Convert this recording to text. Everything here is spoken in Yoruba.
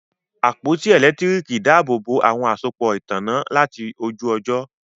àpótí elekitiriki dàbobo àwọn àsopọ ìtanná láti ojú ojo.